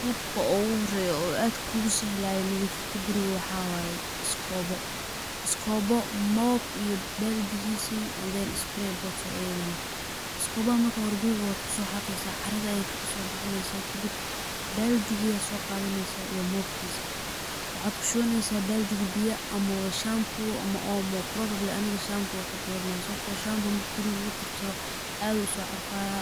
Qalabka ogu horeya oo aad kugu sahlaya nadhiifinta guriga waxawaye iskobo, iskobo mob iyo baldigiisi and then sprayer bottle ayadana, iskobaha marka hore guriga wad kuso xaqeeysa caarada ayad iskagasoo bixineysaa marka kadib baldigii ayad soo qadeysaa iyo mobkiisi, waxad kushabaneysa baldigii biyo ama shambu ama omo probably aniga shambu anka doorano lahay, sababto ah shambu gurigi lugu tirtiro aad u uso caarfaya,